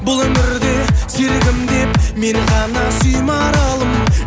бұл өмірде серігім деп мені ғана сүй маралым